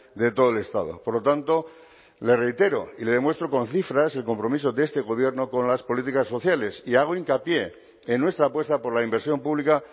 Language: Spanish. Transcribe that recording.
de todo el estado por lo tanto le reitero y le demuestro con cifras el compromiso de este gobierno con las políticas sociales y hago hincapié en nuestra apuesta por la inversión pública